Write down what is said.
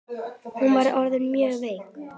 Hún var orðin mjög veik.